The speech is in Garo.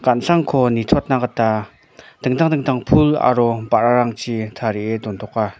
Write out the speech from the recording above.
gan·sangko nitoatna gita dingtang dingtang pul aro ba·rarangchi tarie dontoka.